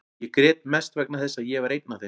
Ég grét mest vegna þess að ég var einn af þeim.